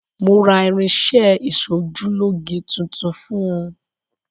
Mo ra irin-iṣẹ́ ẹ ìsojúlóge tuntun fún un.